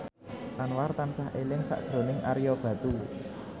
Anwar tansah eling sakjroning Ario Batu